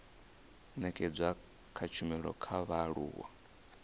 nekedzwa ha tshumelo kha vhaaluwa